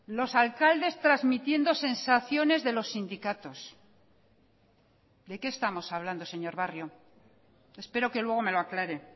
los alcaldes transmitiendo sensaciones de los sindicatos de qué estamos hablando señor barrio espero que luego me lo aclare